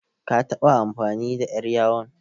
Ka taɓa amfani da ƴar yawon?